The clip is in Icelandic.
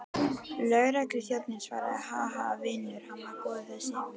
Lögregluþjónninn svaraði, Ha, ha, vinur, hann var góður þessi.